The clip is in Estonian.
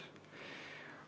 Ilusat tööpäeva kõigile!